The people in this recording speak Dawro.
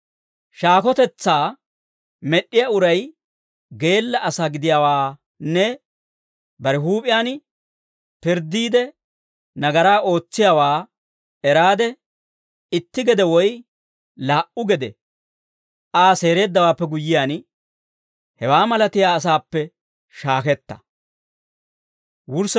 Shaakotetsaa med'd'iyaa uray geella asaa gidiyaawaanne bare huup'iyaan pirddiide nagaraa ootsiyaawaa eraade, itti gede woy laa"u gede Aa seereeddawaappe guyyiyaan, hewaa malatiyaa asaappe shaaketta.